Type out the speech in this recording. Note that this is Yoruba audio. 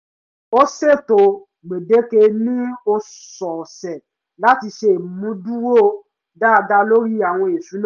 ó sètò gbèdéke ní ọ̀sọ̀ọ̀sẹ̀ láti ṣe ìmúdúró dáadáa lórí àwọn ìṣúná